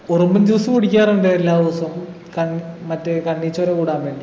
ഉറുമ്പിൻ juice കുടിക്കാറുണ്ട് എല്ലാ ദിവസവും കൺ മറ്റേ കണ്ണിചോര കൂടാൻ വേണ്ടി